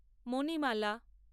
Manimala